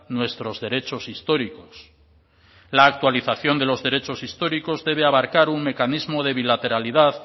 nuestros derechos históricos la actualización de los derechos históricos debe abarcar un mecanismo de bilateralidad